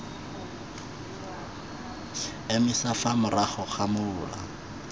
emisa fa morago ga mola